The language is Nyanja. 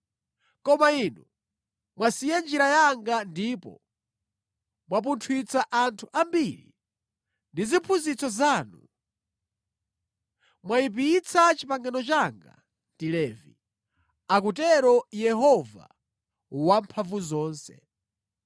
Koma inu mwasiya njira yanga ndipo mwapunthwitsa anthu ambiri ndi ziphunzitso zanu; mwayipitsa pangano langa ndi Levi,” akutero Yehova Wamphamvuzonse.